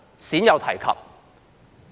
鮮有提及。